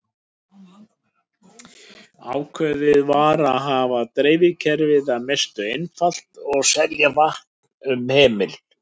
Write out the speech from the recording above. Ákveðið var að hafa dreifikerfið að mestu einfalt og selja vatn um hemil.